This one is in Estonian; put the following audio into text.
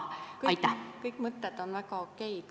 Kõik mõtted on väga okei.